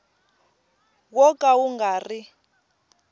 wo ka wu nga ri